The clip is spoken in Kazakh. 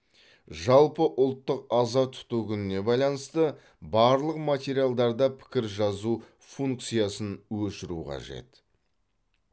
жалпыұлттық аза тұту күніне байланысты барлық материалдарда пікір жазу функциясын өшіру қажет